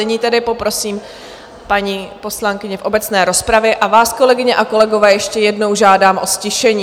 Nyní tedy poprosím paní poslankyni v obecné rozpravě a vás, kolegyně a kolegové, ještě jednou žádám o ztišení.